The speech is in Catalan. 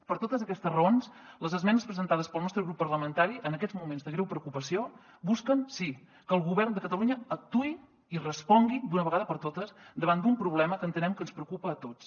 per totes aquestes raons les esmenes presentades pel nostre grup parlamentari en aquests moments de greu preocupació busquen sí que el govern de catalunya actuï i respongui d’una vegada per totes davant d’un problema que entenem que ens preocupa a tots